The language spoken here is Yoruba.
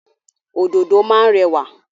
Òdòdó má ń rẹwà.